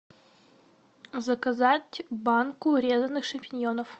заказать банку резаных шампиньонов